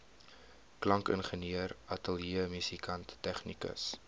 klankingenieur ateljeemusikant tegnikus